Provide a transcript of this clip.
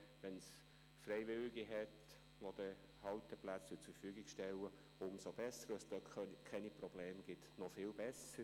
Werden Freiwillige Halteplätze zur Verfügung stellen, umso besser – wird es dort keine Probleme geben, noch viel besser.